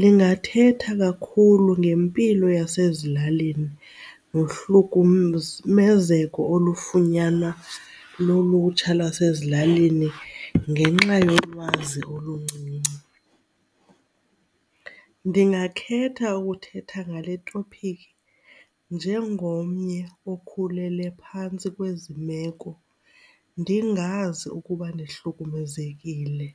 lingathetha kakhulu ngempilo yasezilalini nohlukumezeko olufunyanwa lulutsha lwasezilalini ngenxa yolwazi oluncinci. Ndingakhetha ukuthetha ngale topiki njengomnye okhulele phantsi kwezi meko ndingazi ukuba ndihlukumezekile.